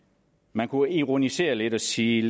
man kunne ironisere lidt og sige